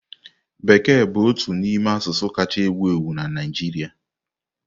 Bekee bụ otu n'ime asụsụ kacha ewu ewu na Naịjirịa.